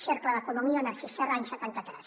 cercle d’economia narcís serra any setanta tres